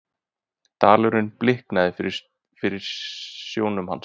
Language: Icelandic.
Dalurinn bliknaði fyrir sjónum hans.